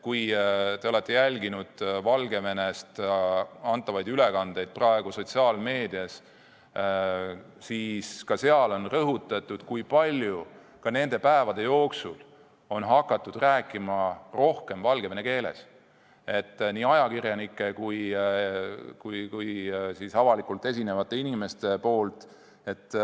Kui te olete jälginud Valgevenest antavaid ülevaateid sotsiaalmeedias, siis ka seal on rõhutatud, kui palju rohkem on nende päevade jooksul hakatud rääkima valgevene keeles – seda on teinud nii ajakirjanikud kui avalikult esinevad inimesed.